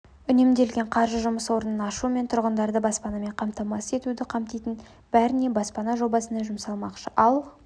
үнемделген қаржы жұмыс орынын ашу мен тұрғындарды баспанамен қамтамасыз етуді қамтитын бәріне баспана жобасына жұмсалмақшы ал